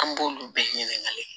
An b'olu bɛɛ ɲininkali